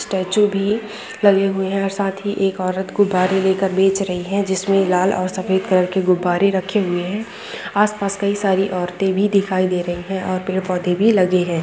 Statue भी लगे हुए हैं साथ ही एक औरत गुब्बारे लेकर बेच रही है जिसमें लाल और सफेद कलर के गुब्बारे रखे हुए है आस पास कई सारी औरतें भी दिखाई दे रही है और पेड़ पौधे भी लगे है।